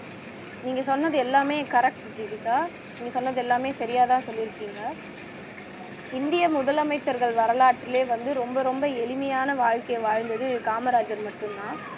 நீங்க சொன்னது எல்லாமே correct ஜீவிதா நீங்க சொன்னது எல்லாமே சரியாதான் சொல்லி இருக்கீங்க இந்திய முதலமைச்சர்கள் வரலாற்றிலேயே வந்து ரொம்ப ரொம்ப எளிமையான வாழ்க்கையை வாழ்ந்தது காமராஜர் மட்டும்தான்